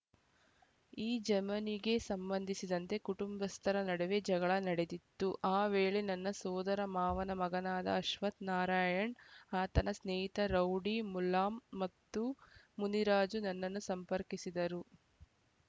ಈ ಜಮನಿಗೆ ಸಂಬಂಧಿಸಿದಂತೆ ಕುಟುಂಬಸ್ಥರ ನಡುವೆ ಜಗಳ ನಡೆದಿತ್ತು ಆ ವೇಳೆ ನನ್ನ ಸೋದರ ಮಾವನ ಮಗನಾದ ಅಶ್ವಥ್ ನಾರಾಯಣ ಆತನ ಸ್ನೇಹಿತ ರೌಡಿ ಮುಲಾಮ ಮತ್ತು ಮುನಿರಾಜು ನನ್ನನ್ನು ಸಂಪರ್ಕಿಸಿದ್ದರು